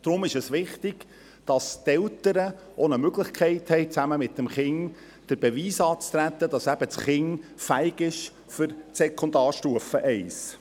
Deshalb ist es wichtig, dass die Eltern die Möglichkeit haben, zusammen mit dem Kind, den Beweis anzutreten, dass das Kind fähig ist für die Sekundarstufe I.